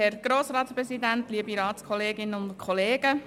Kommissionspräsidentin der JuKo.